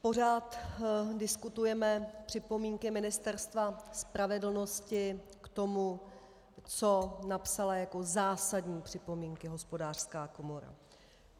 Pořád diskutujeme připomínky Ministerstva spravedlnosti k tomu, co napsala jako zásadní připomínky Hospodářská komora.